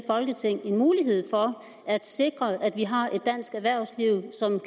folketing en mulighed for at sikre at vi har et dansk erhvervsliv som